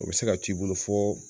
O bɛ se ka t' i bolo fɔ